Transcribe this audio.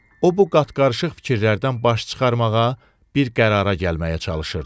O bu qatqarıışıq fikirlərdən baş çıxarmağa bir qərara gəlməyə çalışırdı.